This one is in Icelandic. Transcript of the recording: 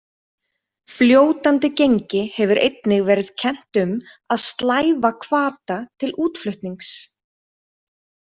Fljótandi gengi hefur einnig verið kennt um að slæva hvata til útflutnings.